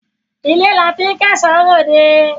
Ilé la tí ń kẹ́ṣọ ròde